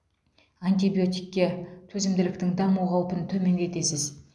антибиотикке төзімділіктің даму қаупін төмендетесіз